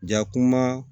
Jakuma